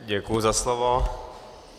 Děkuji za slovo.